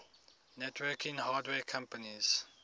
networking hardware companies